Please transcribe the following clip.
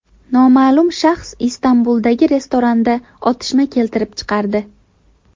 Noma’lum shaxs Istanbuldagi restoranda otishma keltirib chiqardi.